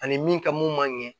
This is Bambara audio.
Ani min ka mun man ɲɛ